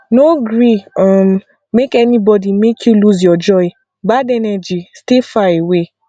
no gree um make anybody make you lose your joy bad energy stay far away